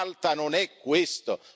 Malta non è questo.